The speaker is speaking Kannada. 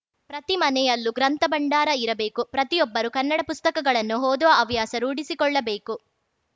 ಪ್ರತಿ ಮನೆಯಲ್ಲೂ ಗ್ರಂಥ ಭಂಡಾರ ಇರಬೇಕು ಪ್ರತಿಯೊಬ್ಬರು ಕನ್ನಡ ಪುಸ್ತಕಗಳನ್ನು ಓದುವ ಹವ್ಯಾಸ ರೂಢಿಸಿಕೊಳ್ಳಬೇಕು